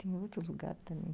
Tem outro lugar também.